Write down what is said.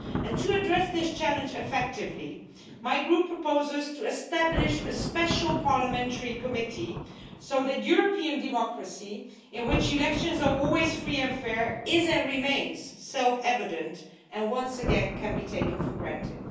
To address this challenge effectively, my Group proposes to establish a special parliamentary committee so that European democracy, in which elections are always free and fair, is and remains self-evident and once again can be taken for granted.